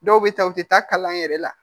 Dɔw bɛ taa u tɛ taa kalan yɛrɛ la